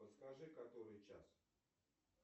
подскажи который час